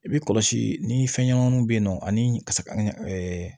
I bɛ kɔlɔsi ni fɛn ɲɛnamaw bɛ yen nɔ ani kasa